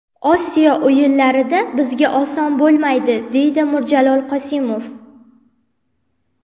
Osiyo o‘yinlarida bizga oson bo‘lmaydi”, dedi Mirjalol Qosimov.